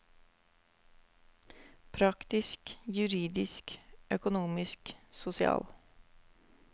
Praktisk, juridisk, økonomisk, sosial.